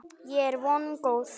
Ég er vongóð.